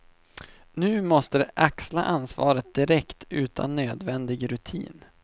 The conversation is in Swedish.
Nu måste de axla ansvaret direkt utan nödvändig rutin.